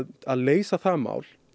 að leysa það mál